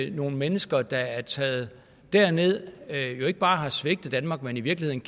nogle mennesker der er taget derned og ikke bare har svigtet danmark men i virkeligheden